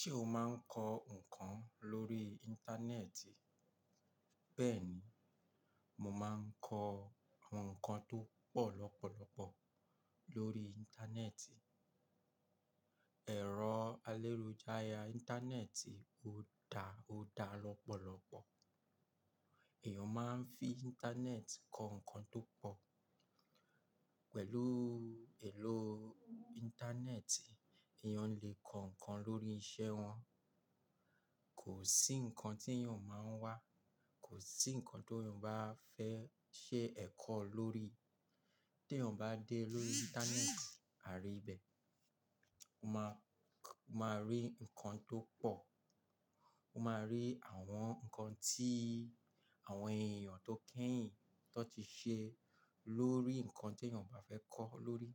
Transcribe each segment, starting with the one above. Ṣé o máa ń kọ ǹkan lórí Íńtánẹ́ẹ̀tì? Bẹ́ẹ̀ni, mo máa ń kọ àwọn ǹkan tó pọ̀ lọ́pọ̀lọpọ̀ lórí Íńtánẹ́ẹ̀tì. Ẹ̀rọ aláìròjàya Íńtánẹ́ẹ̀tì ò dára lọ́pọ̀lọpọ̀. Èèyàn máa ń fi Íńtánẹ́ẹ̀tì kọ ǹkan tó pọ̀. Pẹ̀lú èlò Íńtánẹ́ẹ̀tì, èèyàn lè kọ ǹkan lórí iṣẹ́ wọn. Kò sí ǹkan tí èèyàn ò máa ń wá, kò sí ǹkan tó èèyàn bá fẹ́ ṣe ẹ̀kọ́ lórí. Tí èèyàn bá dé lórí Íńtánẹ́ẹ̀tì, a rí ibẹ̀. O máa rí ǹkan tó pọ̀. O máa rí àwọn ǹkan tí àwọn èèyàn tó kẹ́yìn tó ti ṣe lórí ǹkan tí èèyàn bá fẹ́ kọ́ lórí.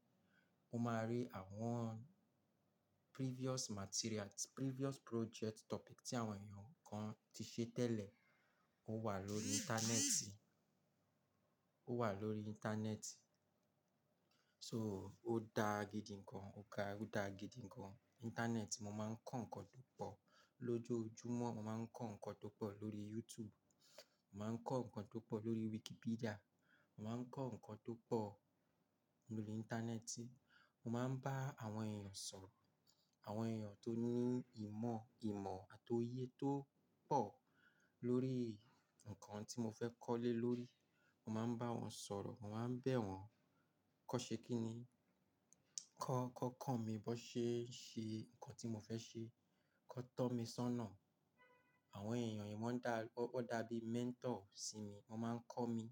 O máa rí àwọn previous materials, previous project topic tí àwọn èèyàn kan ti ṣe tẹ́lẹ̀, ó wà lórí Íńtánẹ́ẹ̀tì, ó wà lórí Íńtánẹ́ẹ̀tì. So ó dáa gidi gan. Ó dáa gidi gan. Íńtánẹ́ẹ̀tì, mo máa ń kọ́ ǹkan tó pọ̀. Lójojúmọ́, mo máa ń kọ́ ǹkan tó pọ̀ lórí YouTube. Mo máa ń kọ́ ǹkan tó pọ̀ lórí Wikipedia. Mo máa ń kọ́ ǹkan tó pọ̀ lórí Íńtánẹ́ẹ̀tì. Mo máa ń bá àwọn èèyàn sọ̀rọ̀. Àwọn èèyàn tó ní ìmọ̀, ìmọ̀ àti oye tó pọ̀ lórí ǹkan tí mo fẹ́ kọ́ lé lórí, mo máa ń bá wọn sọ̀rọ̀. Mo máa ń bẹ̀ wọ́n, kọ́ ṣe kí ni? Kọ́, ki won ko mi bó ṣe ń ṣe ǹkan tí mo fẹ́ ṣe. Kọ́ tọ́ mi sọ́nà. Àwọn èèyàn yìí wọ́n dá, wọ́n dàbí mentor sí mi. Wọ́n máa ń kọ́ mi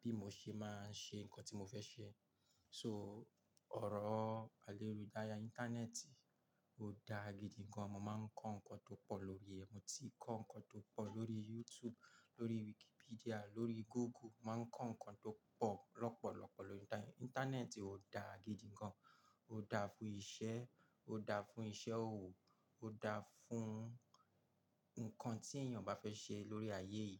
bí mo ṣe máa ń ṣe ǹkan tí mo fẹ́ ṣe. So ọ̀rọ̀ aláìròjàya Íńtánẹ́ẹ̀tì ò dáa gidi gan. Mo máa ń kọ́ ǹkan tó pọ̀ lórí rẹ̀. Mo ti kọ́ ǹkan tó pọ̀ lórí YouTube, lórí Wikipedia, lórí Google. Mo máa ń kọ́ ǹkan tó pọ̀ lọ́pọ̀lọpọ̀ lórí Íńtánẹ́ẹ̀tì. Ó dáa gidi gan. Ó dáa fún iṣẹ́, ó dáa fún iṣẹ́ òwò, ó dáa fún ǹkan tí èèyàn bá fẹ́ ṣe lórí ayé yìí.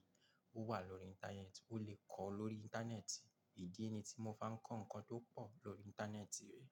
Ó wà lórí Íńtánẹ́ẹ̀tì, ó lè kọ́ ọ́ lórí Íńtánẹ́ẹ̀tì. Idi ni tí mo fi máa ń kọ́ ǹkan tó pọ̀ lórí Íńtánẹ́ẹ̀tì rí.